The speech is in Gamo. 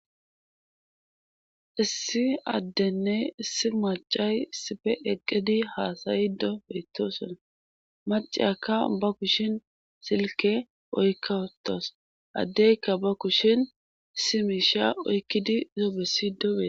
Issi addenne issi macay sife eqqidi haasayido beetosona macaka ba kushin silke oykkatos addeykka ba kushin simisha oykkidi zobesidoobe.